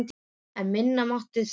En minna mátti það nú vera.